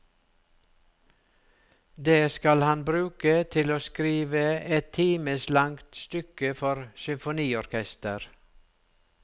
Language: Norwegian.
Det skal han bruke til å skrive et times langt stykke for symfoniorkester.